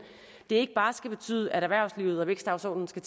ikke bare skal betyde at erhvervslivet og vækstdagsordenen skal